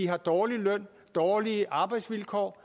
har dårlig løn og dårlige arbejdsvilkår